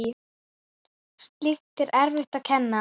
Slíkt er erfitt að kenna.